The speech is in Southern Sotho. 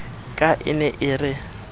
ka e ne e re